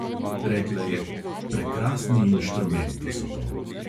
Rekla je: "prekrasni inštrumenti so to."